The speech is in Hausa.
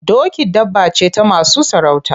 Doki dabba ce ta masu sarauta.